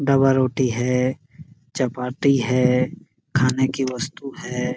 Double रोटी है चपाती है खाने की वस्तु है।